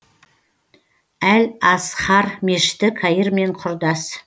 әл азхар мешіті каир мен құрдас